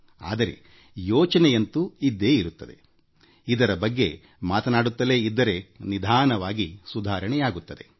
ಆದರೆ ಯೋಚನೆಯಂತೂ ಇದ್ದೇ ಇರುತ್ತದೆ ಇದರ ಬಗ್ಗೆ ಮಾತನಾಡುತ್ತಲೇ ಇದ್ದರೆ ನಿಧಾನವಾಗಿ ಸುಧಾರಣೆಯಾಗುತ್ತದೆ